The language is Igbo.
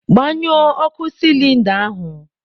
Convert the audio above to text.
Gbanyụọ ọkụ sịlịnda ahụ